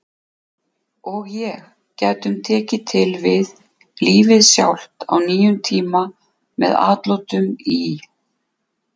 og ég gætum tekið til við Lífið Sjálft á nýjum tíma með atlotum í